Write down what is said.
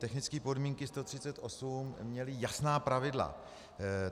Technické podmínky 138 měly jasná pravidla.